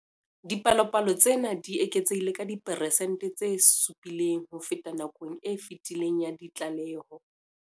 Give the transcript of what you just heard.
Dipalopalo tsena di eketsehile ka diperesente tse 7 ho feta nakong e fetileng ya ditlaleho.